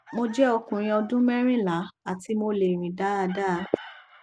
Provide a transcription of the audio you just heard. mo jẹ ọkùnrin ọdún merinla ati mo le rin dáadáa